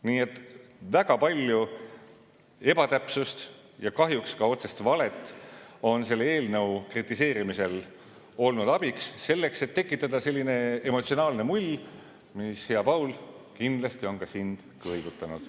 Nii et väga palju ebatäpsust ja kahjuks ka otsest valet on selle eelnõu kritiseerimisel abiks olnud, et tekitada selline emotsionaalne mull, mis, hea Paul, kindlasti on ka sind kõigutanud.